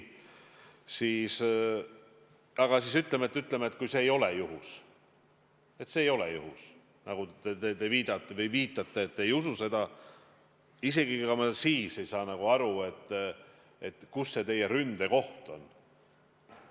Aga ütleme, et see ei ole juhus – nagu te viitate, et te ei usu seda –, isegi siis ma ei saa aru, kus see teie ründekoht on.